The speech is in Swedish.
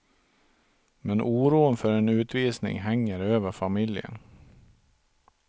Men oron för en utvisning hänger över familjen.